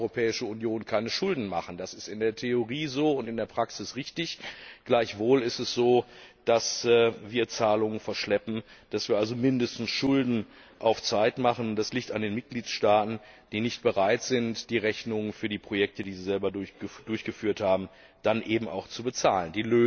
Zwar darf die Europäische Union keine Schulden machen, das ist in der Theorie so und in der Praxis richtig, gleichwohl ist es so, dass wir Zahlungen verschleppen, dass wir also mindestens Schulden auf Zeit machen. Das liegt an den Mitgliedstaaten, die nicht bereit sind, die Rechnungen für die Projekte, die sie selbst durchgeführt haben, dann eben auch zu bezahlen.